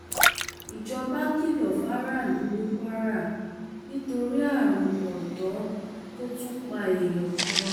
ìjọba kìlọ fáráàlú ní kwara nítorí àrùn kóńtó tó tún pa èèyàn kan